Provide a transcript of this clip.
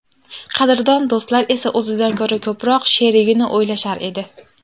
Qadrdon do‘stlar esa o‘zidan ko‘ra ko‘proq sherigini o‘ylashar edi.